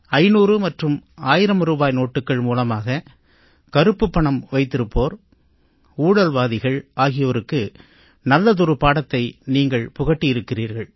500 மற்றும் 1000 ரூபாய் நோட்டுக்கள் மூலமாக கருப்புப் பணம் வைத்திருப்போர் ஊழல்வாதிகள் ஆகியோருக்கு நல்லதொரு பாடத்தை நீங்கள் புகட்டியிருக்கிறீர்கள்